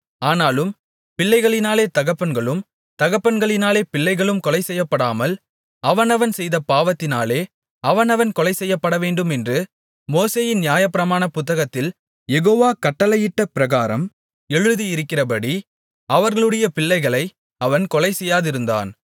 ஆனாலும் பிள்ளைகளினாலே தகப்பன்களும் தகப்பன்களினாலே பிள்ளைகளும் கொலைசெய்யப்படாமல் அவனவன் செய்த பாவத்தினாலே அவனவன் கொலைசெய்யப்படவேண்டுமென்று மோசேயின் நியாயப்பிரமாண புத்தகத்தில் யெகோவா கட்டளையிட்டபிரகாரம் எழுதியிருக்கிறபடி அவர்களுடைய பிள்ளைகளை அவன் கொலைசெய்யாதிருந்தான்